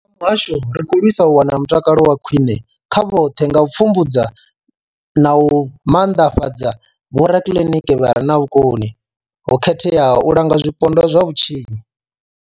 Muhasho, ri khou lwisa u wana mutakalo wa khwine kha vhoṱhe nga u pfumbudza na u maanḓafhadza vhorakiliniki vha re na vhukoni ho khetheaho u langa zwipondwa zwa vhutshinyi.